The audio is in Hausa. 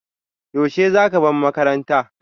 Yaushe za ka bar makaranta?